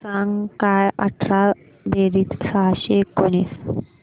सांग काय अठरा बेरीज सहाशे एकोणीस